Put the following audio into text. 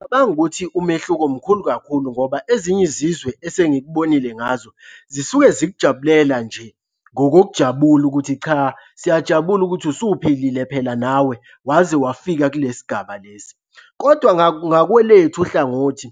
Ngicabanga ukuthi umehluko mkhulu kakhulu ngoba ezinye izizwe esengikubonile ngazo zisuke zikujabulela nje ngokokujabula ukuthi cha, siyajabula ukuthi usuphilile phela nawe waze wafika kulesi gaba lesi, kodwa ngakwelethu uhlangothi,